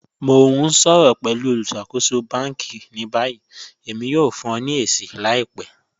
Mọ̀ n ṣọ̀rọ̀ pẹ̀lú olùṣakòsò bánkì ní báyì, èmi yóò fún ọ̀ ní èṣì làìpẹ́.